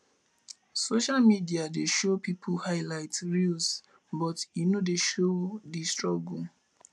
social media dey show peoples highlight reels but e no dey show di struggle